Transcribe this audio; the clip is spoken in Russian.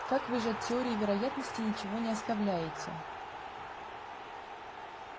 как вы же от теории вероятности ничего не оставляете